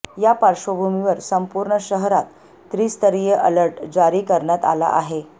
या पार्श्वभूमीवर संपूर्ण शहरात त्रिस्तरीय अलर्ट जारी करण्यात आला आहे